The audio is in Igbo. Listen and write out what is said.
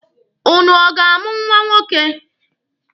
Ụnụ ọ ga-amụ nwa nwoke?